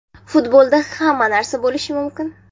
Futbolda hamma narsa bo‘lishi mumkin.